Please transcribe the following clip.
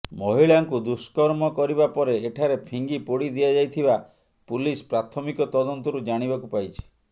ମହିଳାଙ୍କୁ ଦୁଷ୍କର୍ମ କରିବା ପରେ ଏଠାରେ ଫିଙ୍ଗି ପୋଡ଼ି ଦିଆଯାଇଥିବା ପୁଲିସ୍ ପ୍ରାଥମିକ ତଦନ୍ତରୁ ଜାଣିବାକୁ ପାଇଛି